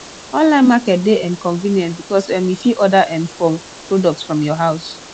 online market de um convient because um you fit order um for products from your house